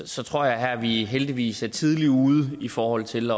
så tror jeg at vi heldigvis her er tidligt ude i forhold til